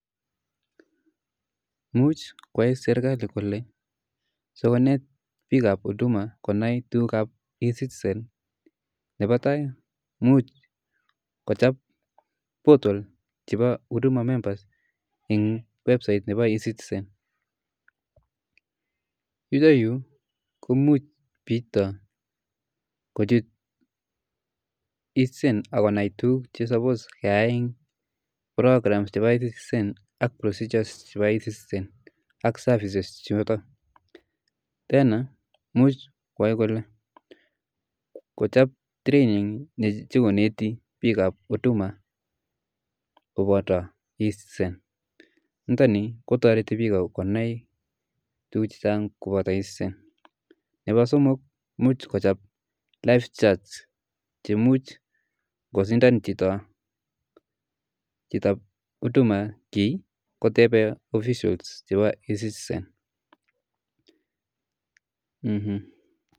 Imuch koyai serkali kole, sikonet bik ab huduma konai e-citisen, nepo tai imuch kochab portal chebo huduma members[c] en website[cs nepo [c]se-citizen, iroyu komuch chito kochut e-citizen ak konai tukuk che suppose keyaen program chebo e-citizen ak procedures chebo e-citizen ak services choto, tena imuch koyae kole, kochob training ne nyokoneti bik ab huduma[c], koboto e-citizen, niton ni kotoreti bik konai akobo e-citizen, nepo somok imuch kochob ive chats cheimut kosindan chitob huduma ki koteben officials chebo e-citizen.